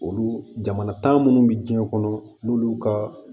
Olu jamana tan munnu bi diɲɛ kɔnɔ n'olu ka